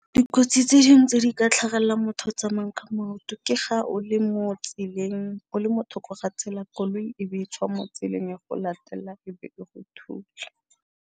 Dikotsi tse dingwe tse di ka tlhagelelang motho o tsamayang ka maoto, ke ga o le mo tseleng o le mo thoko ga tsela, koloi e be e tswa mo tseleng e go latelela e be e go thula.